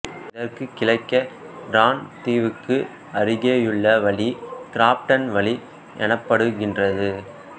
இதற்குக் கிழக்கே டிரான் தீவுக்கு அருகேயுள்ள வழி கிராஃப்ட்டன் வழி எனப்படுகின்றது